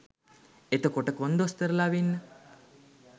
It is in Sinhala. එතකොට කොන්දොස්තරලා වෙන්න